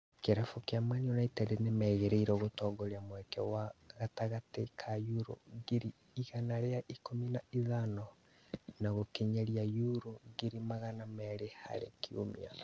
Kĩrabu kĩa united nĩmerĩgĩrĩirwo gũtongoria mweke wake wa gatagatĩ ka yuro ngiri igana rĩa ikũmi na ithano na gũkinyĩria yuro ngiri magana merĩ harĩ kiumia